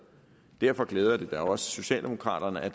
derfor glæder det da også socialdemokraterne at